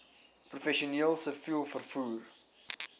professioneel siviel vervoer